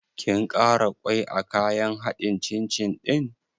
Kin ƙara ƙwai a kayan haɗin cin cin ɗin?